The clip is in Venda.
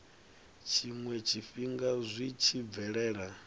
tshiwe tshifhinga zwi tshi bvelela